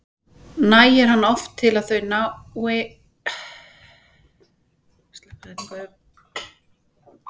Nægir hann oft til að þau ná nokkurra kílómetra hæð.